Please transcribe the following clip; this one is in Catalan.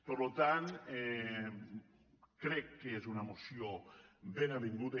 per tant crec que és una moció ben avinguda